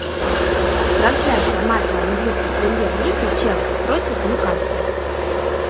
трансляция матча английской премьер лиги челси против ньюкасла